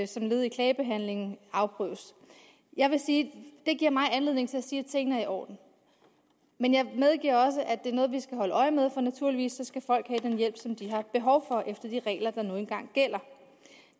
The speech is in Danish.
som led i klagebehandlingen afprøves jeg vil sige at det giver mig anledning til at sige at tingene er i orden men jeg medgiver også at det er noget vi skal holde øje med for naturligvis skal folk have den hjælp som de har behov for efter de regler der nu engang gælder